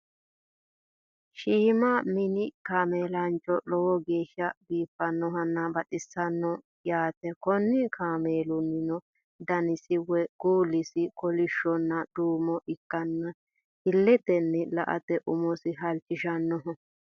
shiima minni kameelicho lowo geesha biifannohonna baxisannoho yaate konni kameelunihunno danisi woye kuulisi kolishonna duumo ikanna iletenni la'ate umosi halichishannoho.